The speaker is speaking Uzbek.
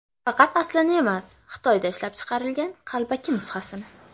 Faqat aslini emas, Xitoyda ishlab chiqarilgan qalbaki nusxasini.